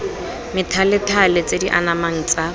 methalethale tse di anamang tsa